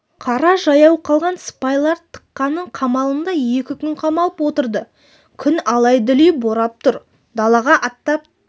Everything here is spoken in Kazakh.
қара жаяу қалған сыпайлар тықының қамалында екі күн қамалып отырды күн алай-дүлей борап тұр далаға аттап